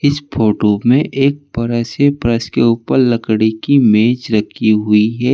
Photo में एक बड़ा सा फर्श के ऊपर लकड़ी की मेज रखी हुई है।